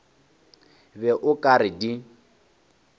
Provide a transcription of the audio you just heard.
be o ka re di